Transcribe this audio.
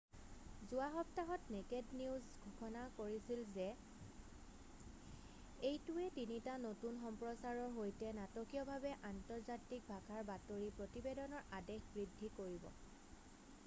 যোৱা সপ্তাহত নেকেড নিউজে ঘোষণা কৰিছিল যে এইটোৱে তিনিটা নতুন সম্প্ৰচাৰৰ সৈতে নাটকীয়ভাৱে আন্তৰ্জাতিক ভাষাৰ বাতৰি প্ৰতিবেদনৰ আদেশ বৃদ্ধি কৰিব